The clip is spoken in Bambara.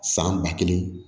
San ba kelen